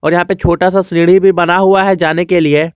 यहां पे छोटा सा सीढ़ी भी बना हुआ है जाने के लिए।